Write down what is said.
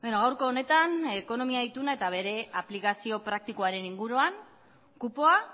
gaurko honetan ekonomia ituna eta bere aplikazio praktikoaren inguruan kupoa